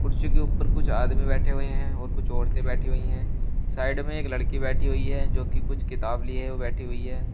कुर्सी के ऊपर कुछ आदमी बैठे हुए हैं और कुछ औरतें बैठी हुई हैं साइड में एक लड़की बैठी हुई है जोकि कुछ किताब ली है वो बैठी हुई है।